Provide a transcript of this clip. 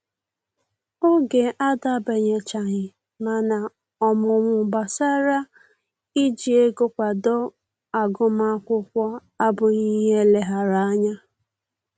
Oge adabanyechaghị, mana ọmụmụ gbasara iji ego kwado agụmakwụkwọ abụghị ihe eleghara anya